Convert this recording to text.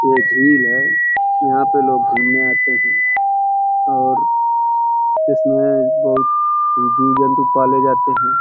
ये झील है। यहाँ पे लोग घुमने आते है। और इसमें बहुत जीव जन्तु पाले जाते हैं।